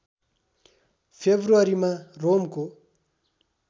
फेब्रुअरीमा रोमको